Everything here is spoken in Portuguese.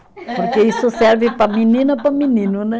Porque isso serve para menina e para menino, né?